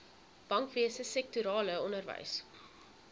bankwese sektorale onderwys